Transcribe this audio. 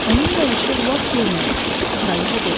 Onun gəlişi lap yerinə düşdü, kraliçə dedi.